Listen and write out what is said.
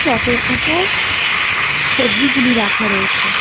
চটের উপর সবজিগুলি রাখা রয়েছে।